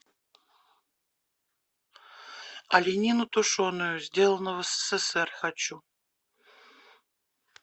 оленину тушеную сделано в ссср хочу